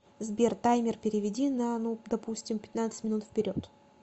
сбер таймер переведи на ну допустим пятнадцать минут вперед